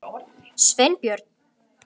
Sveinbjörn